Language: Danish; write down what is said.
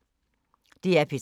DR P3